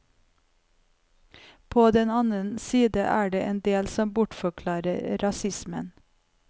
På den annen side er det en del som bortforklarer rasismen.